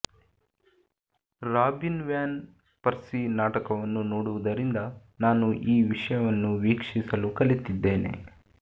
robin van Persie ನಾಟಕವನ್ನು ನೋಡುವುದರಿಂದ ನಾನು ಈ ವಿಷಯವನ್ನು ವೀಕ್ಷಿಸಲು ಕಲಿತಿದ್ದೇನೆ